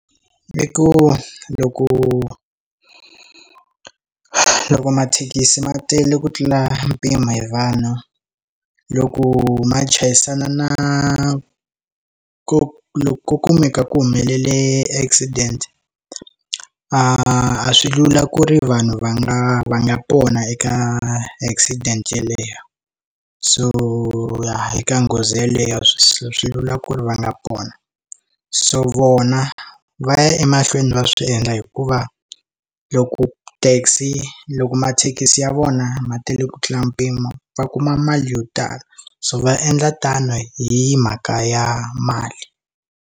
I ku loko loko mathekisi ma tele ku tlula mpimo hi vanhu loko ma chayisana na ku loku ku ku meka ku humelele accident a swi lula ku ri vanhu va nga va nga pona eka accident yeleyo so ya eka nghozi yeleyo a swi lula ku ri va nga pona so vona va ya emahlweni va swi endla hikuva loko taxi loko mathekisi ya vona ma tele ku tlula mpimo va kuma mali yo tala so va endla tano hi mhaka ya mali.